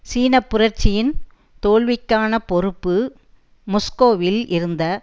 சீன புரட்சியின் தோல்விக்கான பொறுப்பு மொஸ்கோவில் இருந்த